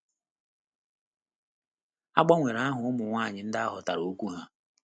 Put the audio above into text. A gbanwere aha ụmụ nwanyị ndị ahotara okwu ha.